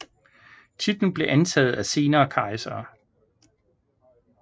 Titlen blev antaget af senere kejsere